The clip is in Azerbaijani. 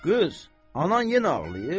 Qız, anan yenə ağlayır?